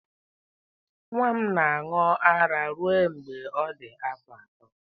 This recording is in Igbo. Nwa m na-aṅụ ara ruo mgbe ọ dị afọ ato.